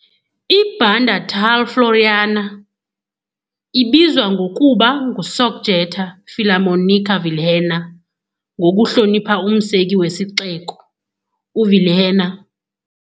I-Banda tal Floriana ibizwa ngokuba "nguSocjeta 'Filarmonika Vilhena", ngokuhlonipha umseki wesixeko, uVilhena.